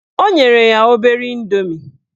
O nyere ya obere indomie.